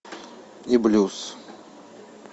и блюз